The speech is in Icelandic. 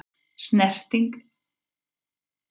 Fyrsta snertingin gaf fyrirheit